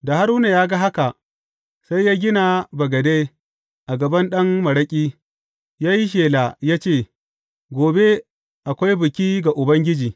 Da Haruna ya ga haka, sai ya gina bagade a gaban ɗan maraƙi, ya yi shela ya ce, Gobe akwai biki ga Ubangiji.